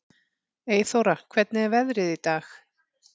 Eyþóra, hvernig er veðrið í dag?